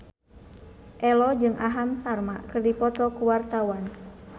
Ello jeung Aham Sharma keur dipoto ku wartawan